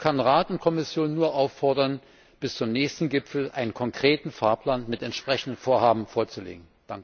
Ich kann Rat und Kommission nur auffordern, bis zum nächsten Gipfel einen konkreten Fahrplan mit entsprechenden Vorhaben vorzulegen.